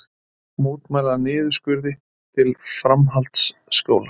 Mótmæla niðurskurði til framhaldsskóla